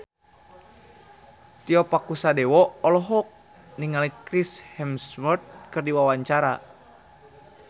Tio Pakusadewo olohok ningali Chris Hemsworth keur diwawancara